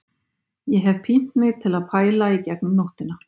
Ég hef pínt mig til að pæla í gegnum nóttina